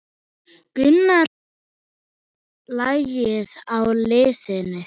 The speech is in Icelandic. Gunnar kunni lagið á liðinu.